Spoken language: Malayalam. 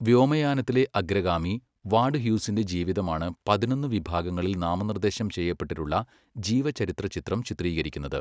വ്യോമയാനത്തിലെ അഗ്രഗാമി വാഡ് ഹ്യൂസിന്റെ ജീവിതമാണ് പതിനൊന്ന് വിഭാഗങ്ങളിൽ നാമനിർദ്ദേശം ചെയ്യപ്പെട്ടിട്ടുള്ള ജീവചരിത്ര ചിത്രം ചിത്രീകരിക്കുന്നത്.